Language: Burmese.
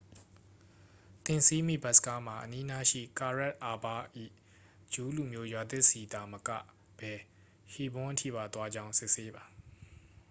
သင်စီးမည့် ဘက်စ်ကားမှာ အနီးနားရှိ ကာရက် အာဘ ၏ ဂျူးလူမျိုးရွာသစ်ဆီသာ မကဘဲ ဟီးဘွန်း အထိပါ သွားကြောင်း စစ်ဆေးပါ